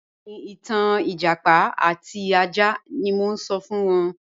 Bẹẹni, ìtàn ẹjápá àti àjà ni mo n sọ̀ fún wọn